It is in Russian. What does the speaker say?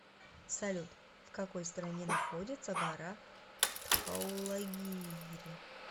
салют в какой стране находится гора дхаулагири